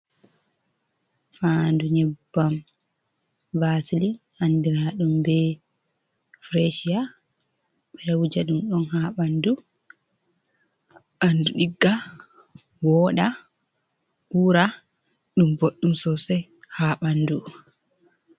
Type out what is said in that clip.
Faandu nyebbam basili handiladum be frachia. boɗo wujadum don ha ɓandu digga, woda wura ɗum boddum sosai ha ɓaŋdu.